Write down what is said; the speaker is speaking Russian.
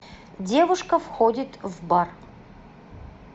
девушка входит в бар